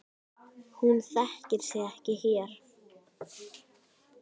Hún þekkir sig ekki hér.